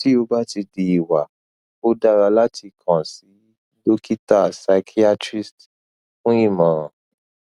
ti o ba ti di iwa o dara lati kan si dokita psychiatrist fun imoran